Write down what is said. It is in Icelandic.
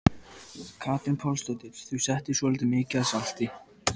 Katrín Pálsdóttir: Þú settir svolítið mikið af salti?